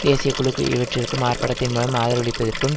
தேசிய குழுக்கு இவற்றுக்கும் ஆர்ப்பாட்டத்தின் மூலம் ஆதரவளிப்பதற்கும்